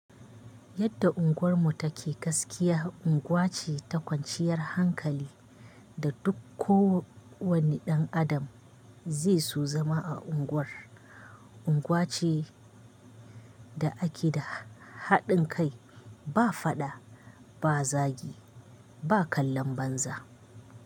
Yadda unguwarmu take gaskiya unguwa ce ta kwanciyar hankali da duk kowane ɗan Adam zai so zama a unguwar. Unguwa ce da ake da haɗin kai, ba faɗa, ba zagi, ba kallon banza.